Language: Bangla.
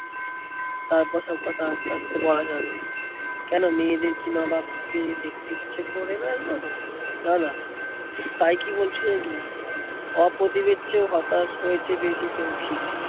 তারপর সবকথা আস্তে আস্তে বলা যাবে। কোনো মেয়েদের কি মা বাপকে দেখতে ইচ্ছে করেনা একবারও? তানা তাই কি বলছি নাকি, অপদীপের চেয়েও হতাশ হয়েছে বেশি সৌখী।